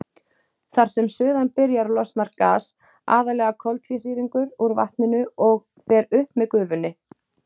Þar sem suðan byrjar losnar gas, aðallega koltvísýringur, úr vatninu og fer upp með gufunni.